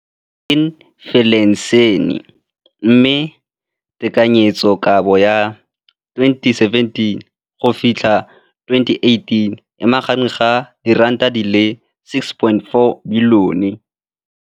Infleišene, mme tekanyetsokabo ya 2017, 18, e magareng ga R6.4 bilione.